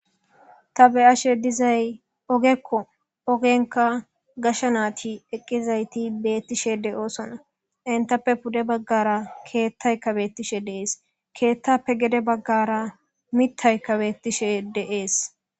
Ta be'ashe dizayi ogeko ogenika gashe nayti eqizaysi betishe de'osona entape pude baggara keththayika betishe de'es keththape gede baggara mitayika betishe de'es.